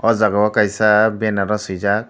o jaga o kaisa banner o swijak.